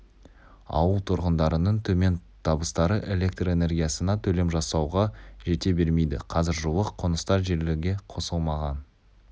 ауыл тұрғындарының төмен табыстары электр энергиясына төлем жасауға жете бермейді қазір жуық қоныстар желіге қосылмаған